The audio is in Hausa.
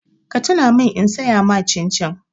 Ka tuna min in saya ma cin-cin!